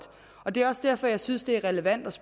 og det er også derfor jeg synes det er relevant at